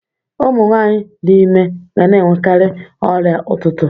Ụmụ nwanyị dị ime ga na-enwekarị ọrịa ụtụtụ